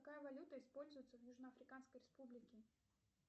какая валюта используется в южно африканской республике